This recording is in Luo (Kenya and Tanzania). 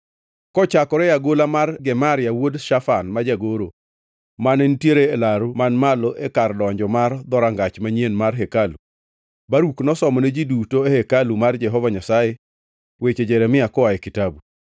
Kochakore e agola mar Gemaria wuod Shafan ma jagoro, mane nitiere e laru man malo e kar donjo mar Dhorangach Manyien mar hekalu, Baruk nosomone ji duto e hekalu mar Jehova Nyasaye weche Jeremia koa e kitabu.